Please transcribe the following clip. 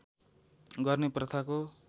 गर्ने प्रथाको